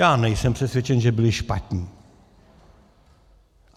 Já nejsem přesvědčen, že byli špatní.